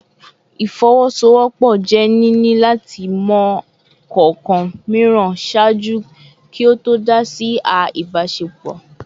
Ifowosowopo je nini lati mọ kọọkan miiran ṣaaju ki o to dá si a ibasepo